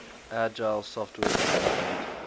agile software development